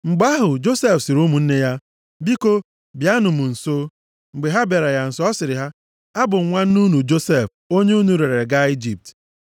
Mgbe ahụ, Josef sịrị ụmụnne ya, “Biko, bịanụ m nso.” Mgbe ha bịara ya nso, ọ sịrị ha, “Abụ m nwanne unu, Josef, onye unu rere ree gaa Ijipt.